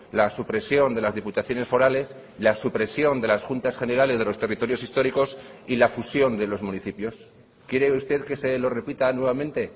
la supresión de las diputaciones forales la supresión de las juntas generales de los territorios históricos y la fusión de los municipios quiere usted que se lo repita nuevamente